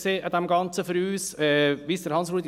Was hat uns an dem Ganzen am meisten gestört?